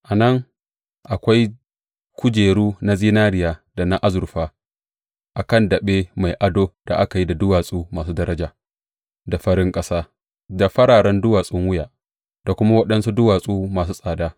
A nan, akwai kujeru na zinariya da na azurfa a kan daɓe mai ado da aka yi da duwatsu masu daraja, da farin ƙasa, da fararen duwatsun wuya, da waɗansu duwatsu masu tsada.